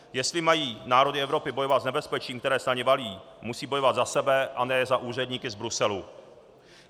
Jestli mají národy Evropy bojovat s nebezpečím, které se na ně valí, musí bojovat za sebe, a ne za úředníky z Bruselu.